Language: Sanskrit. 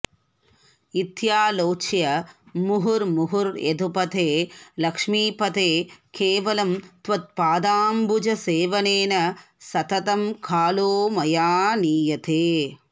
इत्यालोच्य मुहुर्मुहुर्यदुपते लक्ष्मीपते केवलं त्वत्पादाम्बुजसेवनेन सततं कालो मया नीयते